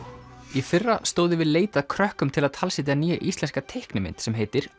í fyrra stóð yfir leit að krökkum til að talsetja nýja íslenska teiknimynd sem heitir